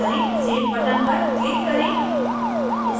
save button पर click करें